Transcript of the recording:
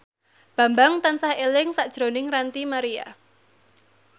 Bambang tansah eling sakjroning Ranty Maria